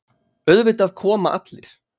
Auðvitað koma allir.